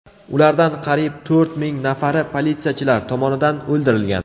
Ulardan qariyb to‘rt ming nafari politsiyachilar tomonidan o‘ldirilgan.